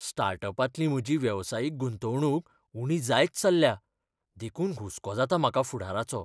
स्टार्टअपांतली म्हजी वेवसायीक गुंतवणूक उणी जायत चल्ल्या, देखून हुस्को जाता म्हाका फुडाराचो.